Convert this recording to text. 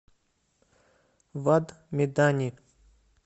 вад медани